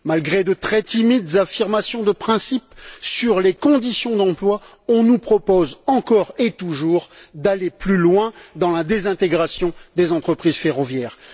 Malgré de très timides affirmations de principe sur les conditions d'emploi, on nous propose, encore et toujours, d'aller plus loin dans la désintégration des entreprises ferroviaires.